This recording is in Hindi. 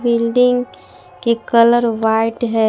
बिल्डिंग के कलर व्हाइट है।